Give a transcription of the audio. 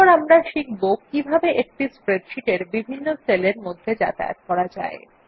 এরপর আমরা শিখব কিভাবে একটি স্প্রেডশীট এর বিভিন্ন সেলের মধ্যে যাতায়াত করা যায়